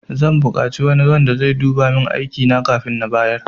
Zan bukaci wani wanda sai duba min aikina kafin na bayar